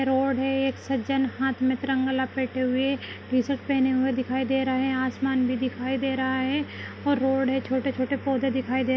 रोड है एक सज्जन हाथ में तिरंगा लपेटे हुए टी-शर्ट पहने हुए दिखाई दे रहे हैं आसमान भी दिखाई दे रहा है और रोड है छोटे- छोटे पौधे दिखाई दे --